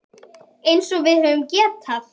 Eins og við höfum getað.